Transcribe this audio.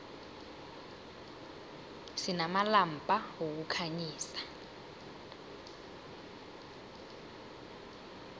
sinamalampa wokukhanyisa